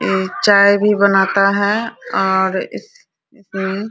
एक चाय भी बनाता है और इस इसमें --